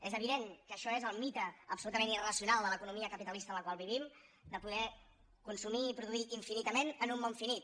és evident que això és el mite absolutament irracional de l’economia capitalista en la qual vivim de poder consumir i produir infinitament en un món finit